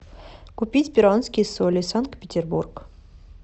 купить перуанские соли санкт петербург